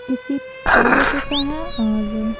किसी पार्क का है और--